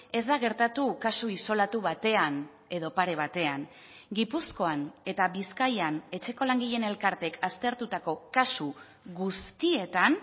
ez da gertatu kasu isolatu batean edo pare batean gipuzkoan eta bizkaian etxeko langileen elkarteek aztertutako kasu guztietan